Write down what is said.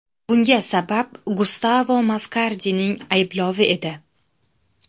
Bunga sabab Gustavo Maskardining ayblovi edi.